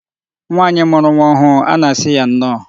Nwaanyị mụrụ nwa ọhụụ a na-asị ya nnọọ